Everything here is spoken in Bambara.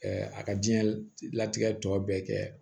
a ka diɲɛ latigɛ tɔ bɛɛ kɛ